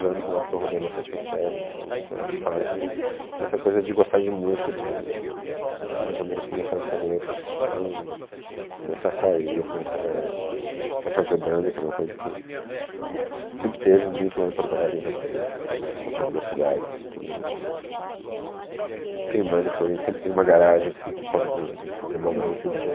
anos lá, porque eu rodei na sétima série, então foi a fase dessa coisa de gostar de música, de hum hum mais ou menos começar a escolher profissão, começar a sair, começar a fazer banda, que era uma coisa que sempre teve muito lá em Porto Alegre, ainda tem, assim, é uma é uma coisa da cidade, assim, todo mundo tem banda, porque alguém sempre tem uma garagem, assim, que pode fazer barulho no fim de